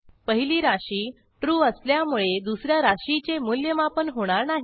पहिली राशी ट्रू असल्यामुळे दुस या राशीचे मूल्यमापन होणार नाही